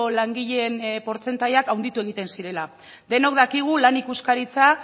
langileen portzentaiak handitu egiten zirela denok dakigu lan ikuskaritza